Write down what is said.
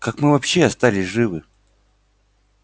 как мы вообще остались живы